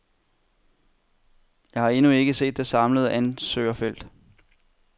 Jeg har endnu ikke set det samlede ansøgerfelt.